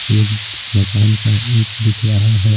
एक मकान का ईंट दिख रहा है।